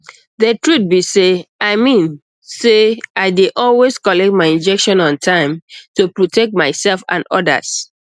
the truth be sey i mean say i dey always collect my injection on time to protect myself and others